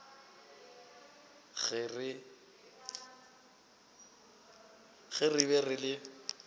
ge re be re le